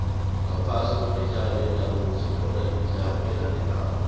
ngaphasi kwemidlalo yendabuko sithola imidlalo elandelako